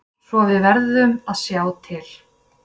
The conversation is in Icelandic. Svo við verðum að sjá til.